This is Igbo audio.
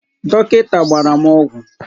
Dọkịnta gbara m ọgwụ.